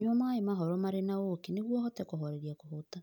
Nyua maĩ mahoro marĩ na ũũkĩ nĩguo ũhote kũhooreria kũhoota.